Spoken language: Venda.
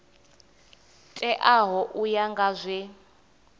teaho u ya nga zwe